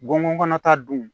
Gɔngɔn ta dun